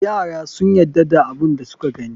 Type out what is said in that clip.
Yara sun yadda da abun da suka gani.